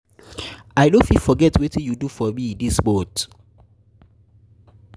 i no fit forget wetin you do for me this this month.